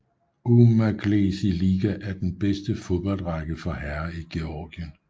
Umaglesi Liga er den bedste fodboldrække for herrer i Georgien